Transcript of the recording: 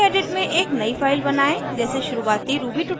gedit में एक नयी फाइल बनायें जैसे शुरुवाती ruby ट्यूटोरियल्स में प्रदर्शित है